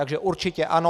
Takže určitě ano.